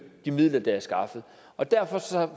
de midler der er skaffet og derfor